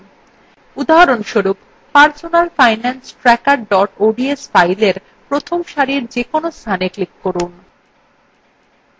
উদাহরণস্বরূপ personal finance tracker ods fileএ প্রথম সারির যেকোনো স্থানে click করুন